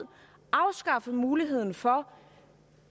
afskaffe muligheden for